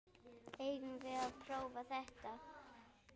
Eigum við að prófa þetta?